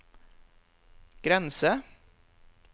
grense